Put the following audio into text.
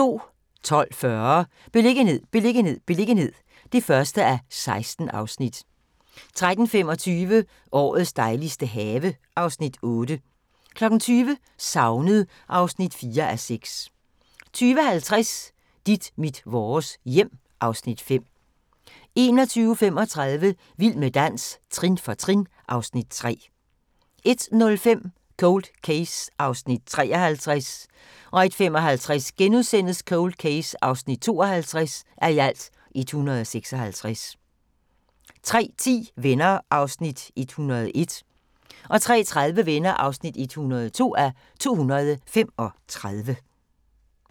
12:40: Beliggenhed, beliggenhed, beliggenhed (1:16) 13:25: Årets dejligste have (Afs. 8) 20:00: Savnet (4:6) 20:50: Dit mit vores hjem (Afs. 5) 21:35: Vild med dans – trin for trin (Afs. 3) 01:05: Cold Case (53:156) 01:55: Cold Case (52:156)* 03:10: Venner (101:235) 03:30: Venner (102:235)